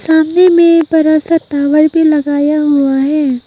सामने में बड़ा सा टावर भी लगाया हुआ है।